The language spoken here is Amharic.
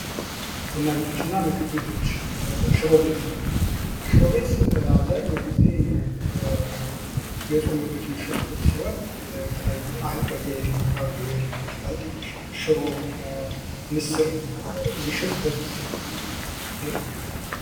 ቡና ቤቶች እና ምግብ ቤቶች ሽሮ ቤት:- ሽሮ ቤት አብዛኛዉን ጊዜ የፆም ምግቦች የሚሸጡበት ሲሆን የተለያዩ በየአይነት የሚባሉ ሽሮ ምስር የሚሸጡበት ቤት ነዉ።